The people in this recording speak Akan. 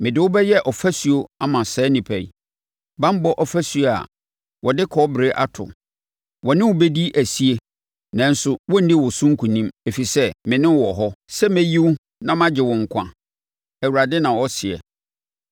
Mede wo bɛyɛ ɔfasuo ama saa nnipa yi, banbɔ ɔfasuo a wɔde kɔbere ato; wɔ ne wo bɛdi asie nanso wɔrenni wɔ so nkonim, ɛfiri sɛ me ne wo wɔ hɔ sɛ mɛyi wo na magye wo nkwa,” Awurade, na ɔseɛ.